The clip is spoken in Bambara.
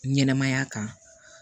Ɲɛnɛmaya kan